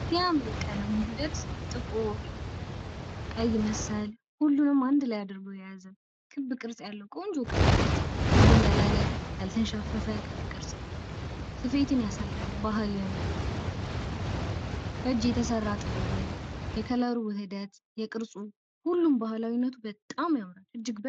የሚያምር ይቀቀለም ውህደት ጥቁር ፣ቀይ መሰል ሁሉንም አንድ ላይ አድርጎ የያዘ ክብ ቅርጽ ያለው ቆንጆ ክብ ቅርጽ ክብ ቅርጽ ስኬትን ያሳያል ባህልም በእጅ የተሰራ ጥበብን የቀለሙ ውህደት የቅርሱ ሁሉ በጣም ያምራል።